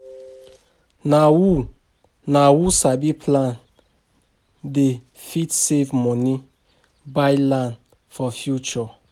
Na who Na who sabi plan dey fit save money buy land for future.